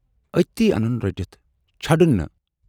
ٲتی اَنن رٔٹِتھ، چھڑن نہٕ